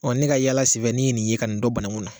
ne ka yaala sin fɛ ne ye nin yen, ka nin don bananku na